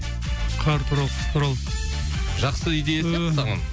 қар туралы қыс туралы жақсы идея сияқты саған